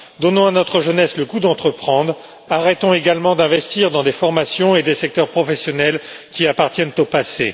Donnons à notre jeunesse le goût d'entreprendre, arrêtons également d'investir dans des formations et des secteurs professionnels qui appartiennent au passé.